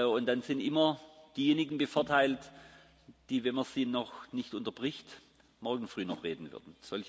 Und dann sind immer diejenigen bevorteilt, die, wenn man sie noch nicht unterbricht, morgen früh noch reden würden.